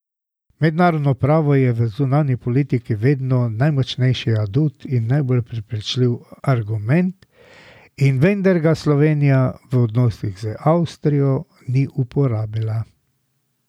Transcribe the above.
Mednarodno pravo je v zunanji politiki vedno najmočnejši adut in najbolj prepričljiv argument, in vendar ga Slovenija v odnosih z Avstrijo ni uporabila.